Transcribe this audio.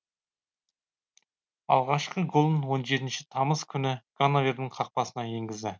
алғашқы голын он жетінші тамыз күні ганновердің қақпасына енгізді